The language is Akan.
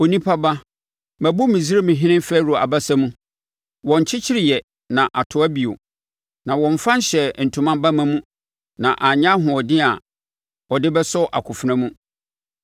“Onipa ba, mabu Misraimhene Farao abasa mu. Wɔnkyekyereeɛ na atoa bio; na wɔmmfa nhyɛɛ ntoma bamma mu na anya ahoɔden a ɔde bɛsɔ akofena mu.